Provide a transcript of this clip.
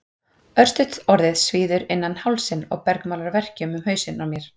Örstutt orðið svíður innan hálsinn og bergmálar verkjum um hausinn á mér.